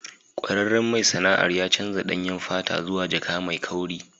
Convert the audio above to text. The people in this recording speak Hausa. Kwararren mai sana'ar ya canza danyen fata zuwa jaka mai kauri.